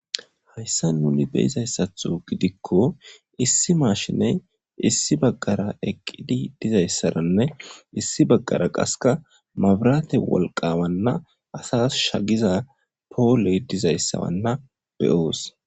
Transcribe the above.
Hayssa nuni beizayssatho gidikko issi maashiney issi baggara eqqidi dizayssaranne issi baggara qaseka mabrate wolqawanna asas shagiza pooley dizayssawanna beyoos.